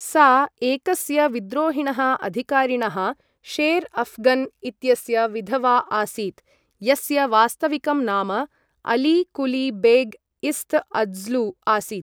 सा एकस्य विद्रोहिणः अधिकारिणः, शेर् अफ्घन् इत्यस्य विधवा आसीत्, यस्य वास्तविकं नाम अली कुली बेग् इस्त्'अज्लु आसीत्।